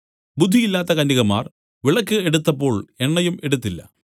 ബുദ്ധിയില്ലാത്ത കന്യകമാർ വിളക്ക് എടുത്തപ്പോൾ എണ്ണയും എടുത്തില്ല